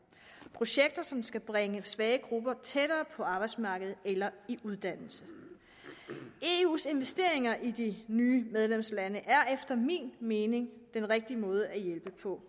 projekter som skal bringe svage grupper tættere på arbejdsmarkedet eller i uddannelse eus investeringer i de nye medlemslande er efter min mening den rigtige måde at hjælpe på